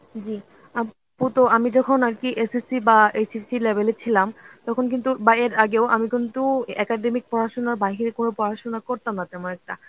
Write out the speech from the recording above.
জী. আপু আমি যখন আর কি SSC বাহঃ SSC level এ ছিলাম তখন কিন্তু বাহঃ এর আগেও আমি কিন্তু academic পড়াশোনার বাহিরে কোন পড়াশোনা করতাম না তেমন একটা.